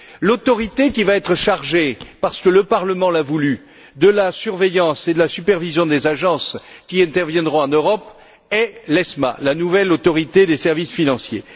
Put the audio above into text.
L'autorité qui va être chargée parce que le Parlement l'a voulu de la surveillance et de la supervision des agences qui interviendront en Europe est l'ESMA, la nouvelle autorité des services financiers.